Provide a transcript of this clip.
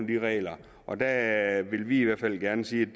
de regler og der vil vi i hvert fald gerne sige